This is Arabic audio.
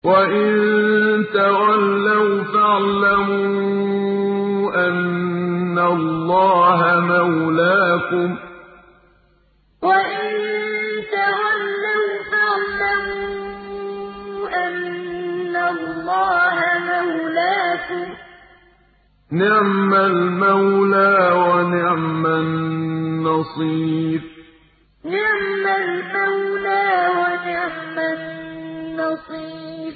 وَإِن تَوَلَّوْا فَاعْلَمُوا أَنَّ اللَّهَ مَوْلَاكُمْ ۚ نِعْمَ الْمَوْلَىٰ وَنِعْمَ النَّصِيرُ وَإِن تَوَلَّوْا فَاعْلَمُوا أَنَّ اللَّهَ مَوْلَاكُمْ ۚ نِعْمَ الْمَوْلَىٰ وَنِعْمَ النَّصِيرُ